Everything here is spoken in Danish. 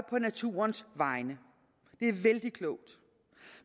på naturens vegne det er vældig klogt